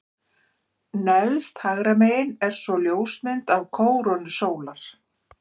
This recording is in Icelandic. Neðst hægra megin er svo ljósmynd af kórónu sólar.